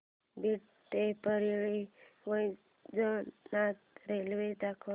बीड ते परळी वैजनाथ रेल्वे दाखव